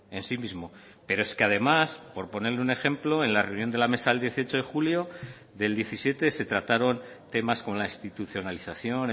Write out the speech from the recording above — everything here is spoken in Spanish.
en sí mismo pero es que además por ponerle un ejemplo en la reunión de la mesa el dieciocho de julio del diecisiete se trataron temas con la institucionalización